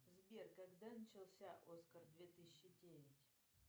сбер когда начался оскар две тысячи девять